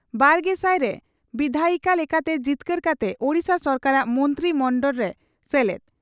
ᱵᱟᱨᱜᱮᱥᱟᱭ ᱨᱮ ᱵᱤᱫᱷᱟᱭᱤᱠᱟ ᱞᱮᱠᱟᱛᱮ ᱡᱤᱛᱠᱟᱹᱨ ᱠᱟᱛᱮ ᱳᱰᱤᱥᱟ ᱥᱚᱨᱠᱟᱨᱟᱜ ᱢᱚᱱᱛᱨᱤ ᱢᱚᱱᱰᱚᱲ ᱨᱮ ᱥᱮᱞᱮᱫ ᱾